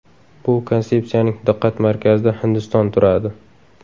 Bu konsepsiyaning diqqat markazida Hindiston turadi”.